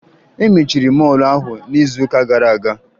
E mechiri mọọlụ ahụ n'izuụka gara aga